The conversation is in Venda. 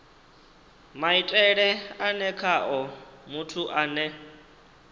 maitele ane khao muthu ane